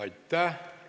Aitäh!